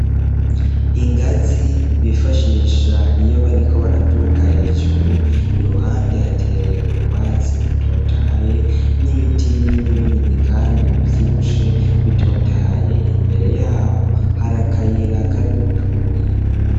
Ingazi bifashisha iyo bariko baraduga hejuru, iruhande hateye utwatsi dutotaye n'ibiti binini binini kandi bivyibushe bitotahaye. Imbere yaho hari akayira karimwo utubuyi.